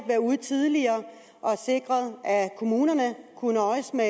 været ude tidligere og sikret at kommunerne kunne nøjes med